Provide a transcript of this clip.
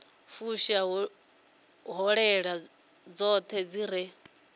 fusha ṱhoḓea dzoṱhe dzi re